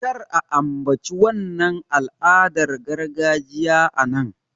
Kar a ambaci wannan al'adar gargajiya a nan!